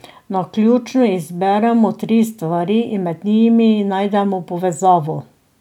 Naključno izberemo tri stvari in med njimi najdemo povezavo.